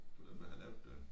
Det var dem der havde lavet det